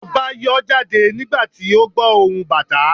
Ọba yọọ jade nígbàtí o gbọ ohún Batà